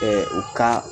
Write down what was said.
u ka